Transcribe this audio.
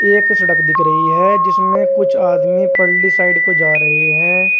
एक सड़क दिख रही है जिसमें कुछ आदमी पल्ली साइड को जा रहे हैं।